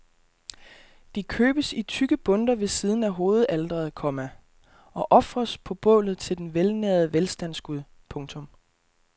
De købes i tykke bundter ved siden af hovedaltret, komma og ofres på bålet til den velnærede velstandsgud. punktum